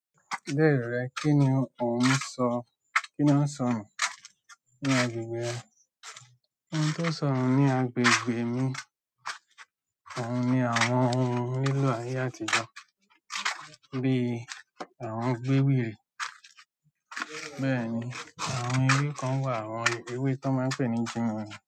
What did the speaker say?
Lero rẹ, kí ni òun ń sọ, kí ni ó ń sọnu ní agbègbè rẹ? Ohun tó ń sọnu ní agbègbè mi òun ni àwọn ohun lílò ayé àtijọ́ bíi àwọn gbéwìrí. Bẹ́ẹ̀ni, àwọn ewé kan wà, àwọn ewé tan máa ń pè ní jinwinrin.